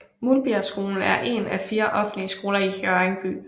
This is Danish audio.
Muldbjergskolen er en af 4 offentlige skoler i Hjørring by